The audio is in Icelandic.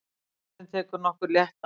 Forsetinn tekur nokkur létt dansspor.